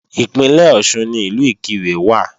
Ìpínlẹ̀ Ọ̀ṣun ni Ìlú Ìkirè wà